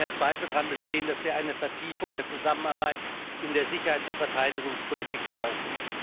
Ich glaube, es kann kein Zweifel daran bestehen, dass wir eine Vertiefung der Zusammenarbeit in der Sicherheits und Verteidigungspolitik brauchen.